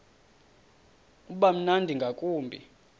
uba mnandi ngakumbi